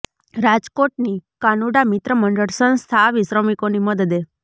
રાજકોટની કાનુડા મિત્ર મંડળ સંસ્થા આવી શ્રમિકોની મદદે